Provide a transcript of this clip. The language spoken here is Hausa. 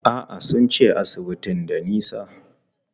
A'a, sun ce asibitin da nisa.